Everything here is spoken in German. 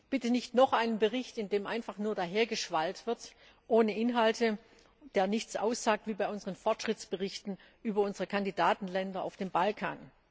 Bitte nicht noch einen Bericht, in dem einfach nur dahergeschwallt wird ohne Inhalte, der nichts aussagt, wie bei unseren Fortschrittsberichten über unsere Kandidatenländer auf dem Balkan.